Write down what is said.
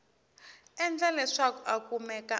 endla leswaku a kumeka a